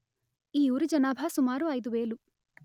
ఈ ఊరి జనాభా సుమారు ఐదు వేలు